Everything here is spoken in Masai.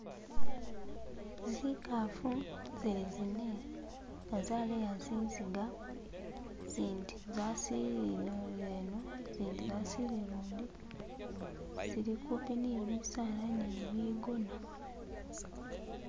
Zikafu zili zine nga zaleya zinziga zindi zazilile ino zindi zazilile lundi zili kupi ni bisala ni bigona